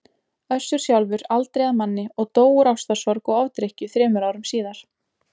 Össur sjálfur aldrei að manni og dó úr ástarsorg og ofdrykkju þremur árum síðar.